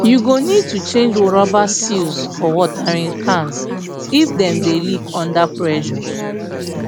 you go need to change rubber seals for watering cans if dem dey leak under pressure